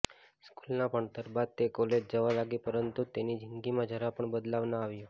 સ્કૂલના ભણતર બાદ તે કોલેજ જવા લાગી પરંતુ તેની જિંદગીમાં જરા પણ બદલાવ ના આવ્યો